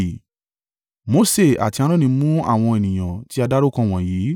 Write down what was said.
Mose àti Aaroni mú àwọn ènìyàn tí a dárúkọ wọ̀nyí